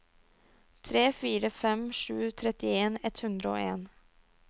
tre fire fem sju trettien ett hundre og en